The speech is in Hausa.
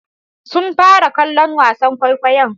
Sun fara kallon wasan kwaikwayon?